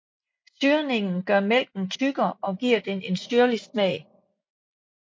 Syrningen gør mælken tykkere og giver den en syrlig smag